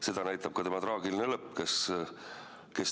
Seda näitab ka tema traagiline lõpp.